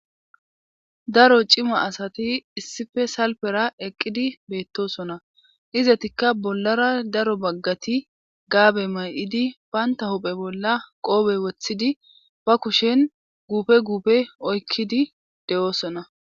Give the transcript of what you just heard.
Daro cima asati issife salpera eqqidi beettosona izatikka bollara daro baggati gaabe may'idi baynta hophe bolla qoobe wothidi ba kushen guupe guupe oykkidi de'oosona.